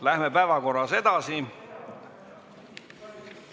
Läheme päevakorras edasi.